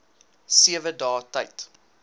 sewe dae tyd